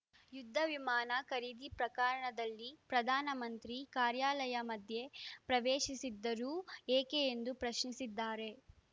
ಯುದ್ಧ ವಿಮಾನ ಖರೀದಿ ಪ್ರಕರಣದಲ್ಲಿ ಪ್ರಧಾನ ಮಂತ್ರಿ ಕಾರ್ಯಾಲಯ ಮಧ್ಯೆ ಪ್ರವೇಶಿಸಿದ್ದಾದರೂ ಏಕೆ ಎಂದು ಪ್ರಶ್ನಿಸಿದ್ದಾರೆ